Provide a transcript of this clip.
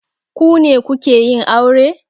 Ku ne kuke yin aure?